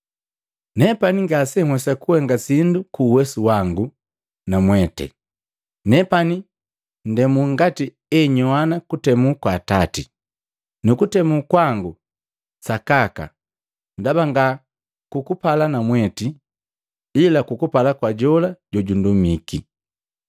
“Nepani ngasenhwesa kuhenga sindu ku uwesu wangu na mwete. Nepani ndemu ngati enyowana kutemu kwa Atati, nu kutemu kwangu kwa sakaka. Ndaba nga kukupala namweti ila kukupala kwa jola jojundumiki.”